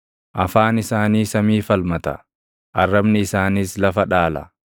Afaan isaanii samii falmata; arrabni isaaniis lafa dhaala.